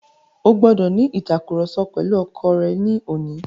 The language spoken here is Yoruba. O gbọ́dọ̀ ní ìtàkurọ̀sọ pẹ̀lu ọkọ rẹ ní òní.